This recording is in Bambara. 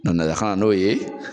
kan n'o ye